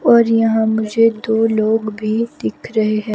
और यहां मुझे दो लोग भी दिख रहे हैं।